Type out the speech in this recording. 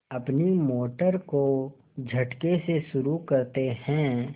अपनी मोटर को झटके से शुरू करते हैं